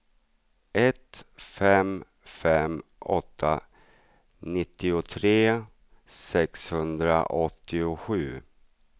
ett fem fem åtta nittiotre sexhundraåttiosju